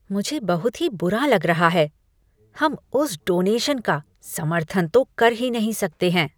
मुझे बहुत ही बुरा लग रहा है! हम उस डोनेशन का समर्थन तो कर ही नहीं सकते हैं।